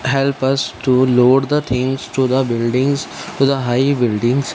help us to load the things to the buildings to the high buildings.